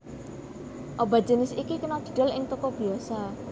Obat jinis iki kena didol ing toko biyasa